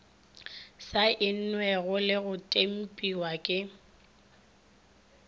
saennwego le go tempiwa ke